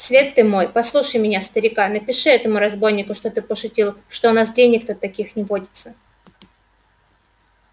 свет ты мой послушай меня старика напиши этому разбойнику что ты пошутил что у нас денег-то таких не водится